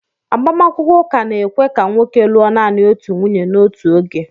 Agbamakwụkwọ ụka na-ekwe ka nwoke lụọ naanị otu nwunye n'otu oge